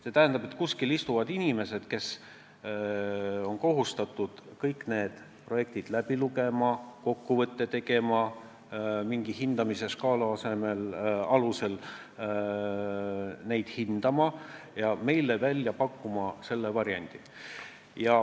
See tähendab, et kuskil istuvad inimesed, kes on kohustatud kõik need projektid läbi lugema, kokkuvõtte tegema, mingi hindamisskaala alusel neid hindama ja meile välja pakkuma selle variandi.